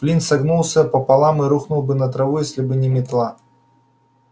флинт согнулся пополам и рухнул бы на траву если бы не метла